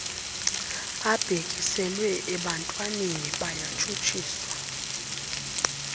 abhekiselwe ebantwananeni bayatshutshiswa